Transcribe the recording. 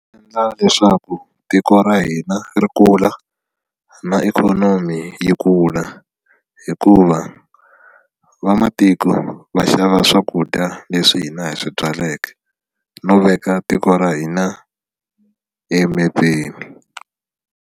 Endla leswaku tiko ra hina ri kula na ikhonomi yi kula hikuva vamatiko va xava swakudya leswi hina hi swi byaleke no veka tiko ra hina emepeni.